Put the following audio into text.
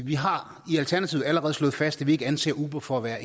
vi har i alternativet allerede slået fast at vi ikke anser uber for at være